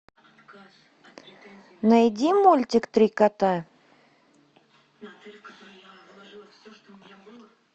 найди мультик три кота